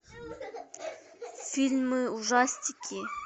фильмы ужастики